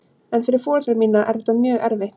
En fyrir foreldra mína er þetta mjög erfitt.